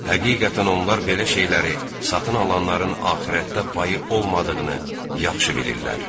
Həqiqətən onlar belə şeyləri satın alanların axirətdə payı olmadığını yaxşı bilirlər.